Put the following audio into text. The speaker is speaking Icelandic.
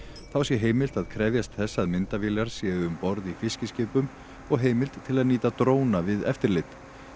þá sé heimilt að krefjast þess að myndavélar séu um borð í fiskiskipum og heimild til að nýta dróna við eftirlit